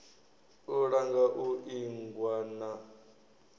u langa u ingwa na